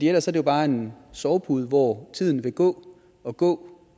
ellers er det bare en sovepude hvor tiden vil gå og gå